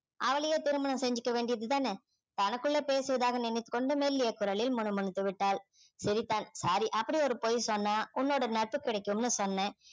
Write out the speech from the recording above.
அவளையே திருமணம் செஞ்சிக்க வேண்டியது தான தனக்குள்ள பேசியதாக நினைத்து கொண்டு மெல்லிய குரலில் முணுமுணுத்து விட்டாள் சிரிதான் sorry அப்படி ஒரு பொய் சொன்னா உன்னோட நட்பு கிடைக்கும்னு சொன்னேன்